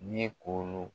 Ni ye koro